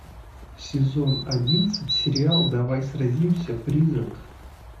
сезон одиннадцать сериал давай сразимся призрак